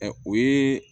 Ɛ o ye